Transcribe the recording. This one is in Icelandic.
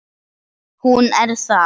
Hún er það.